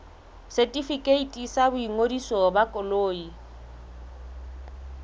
setefikeiti sa boingodiso ba koloi